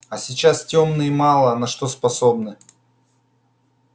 а сейчас тёмные мало на что способны